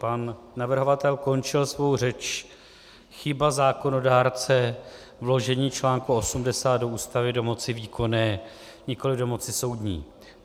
Pan navrhovatel končil svou řeč: chyba zákonodárce - vložení článku 80 do Ústavy do moci výkonné, nikoli do moci soudní.